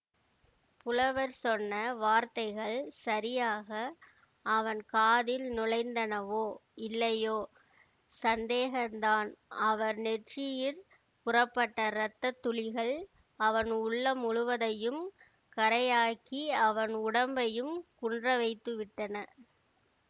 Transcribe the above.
புலவர் சொன்ன வார்த்தைகள் சரியாக அவன் காதில் நுழைந்தனவோ இல்லையோ சந்தேகந்தான் அவர் நெற்றியிற் புறப்பட்ட ரத்தத்துளிகள் அவன் உள்ளம் முழுவதையும் கறையாக்கி அவன் உடம்பையும் குன்றவைத்துவிட்டன